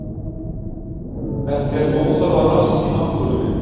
Ekkert óþarfa rask í náttúrunni